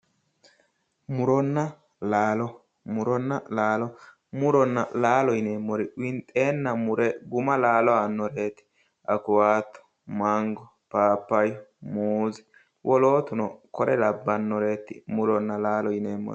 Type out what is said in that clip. Muronna laalo, muronna laalo yineemmo woyte winxenna mure guma laalanoreti awukado ,mango, phaphayu ,muuze, wolootuno kore labbanoreti muronna laalo yineemmori